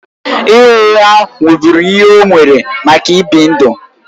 Ịgha ụgha wụ́bụ́ru ihe o mere maka ịbi ndụ.